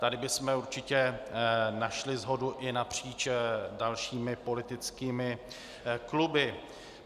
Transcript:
Tady bychom určitě našli shodu i napříč dalšími politickými kluby.